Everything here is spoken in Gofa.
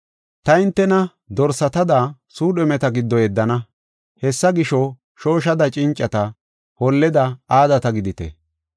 “Ta hintena dorsatada suudhumeta giddo yeddana. Hessa gisho, shooshada cincata, holleda aadata gidite.